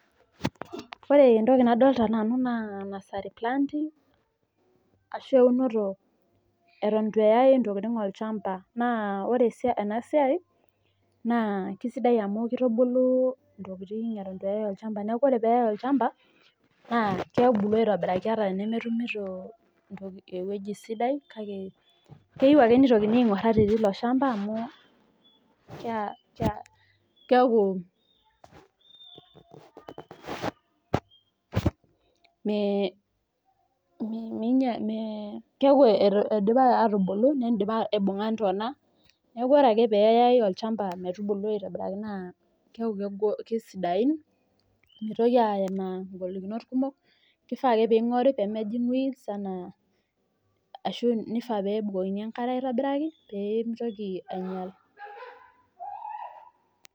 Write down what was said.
Ore entoki nadolita naa eunoto eton eitu eyay ntokiting olchamba naa ore enasiai naa kisidai amu ebulu ntokiting eitu eyay olchamba naa kebulu aitobiraki teneyay olchamba kake keyieu ake neitokini aingur tilo shamba amu keeku eidipa atibulu neidipa aibunga ntona neeku meitoki aimaa ingolikinot kumok ashu nifaa peebukokini engara peemitoki ainyal